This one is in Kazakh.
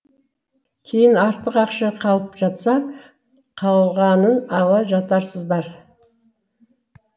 кейін артық ақша қалып жатса қалғанын ала жатарсыздар